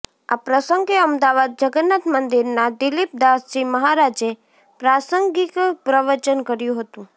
આ પ્રસંગે અમદાવાદ જગન્નાથ મંદિરના દિલીપદાસજી મહારાજે પ્રાસંગિક પ્રવચન કર્યું હતું